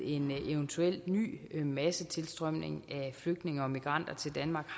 en eventuel ny massetilstrømning af flygtninge og migranter til danmark